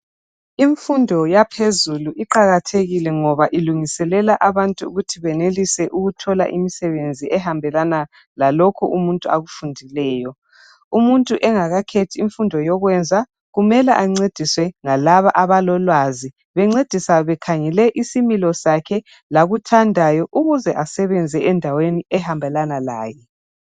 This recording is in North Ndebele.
Imfundo yaphezulu iqakathekile ngoba ilungiselela abantu ukuthi benelise ukuthola imisebenzi ehambelana lalokho umuntu akufundileyo. Umuntu engakhethi imfundo yokwenza kumele ancediswe yilabo abalolwazi bamsiza bekhangela isimilo sakhe lalokho akuthandayo ukuze enelise ukusebenza endaweni ehambelana laye.